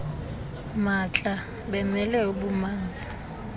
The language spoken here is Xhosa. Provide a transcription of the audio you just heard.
maatla bemele ububanzi